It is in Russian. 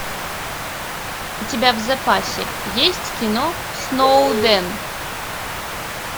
у тебя в запасе есть кино сноуден